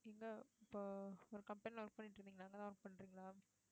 எங்க இப்போ ஒரு company ல work பண்ணிட்டு இருந்தீங்களே அங்கதான் work பண்றீங்களா